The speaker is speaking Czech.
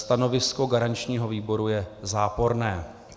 Stanovisko garančního výboru je záporné.